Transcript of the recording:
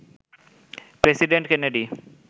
president Kennedy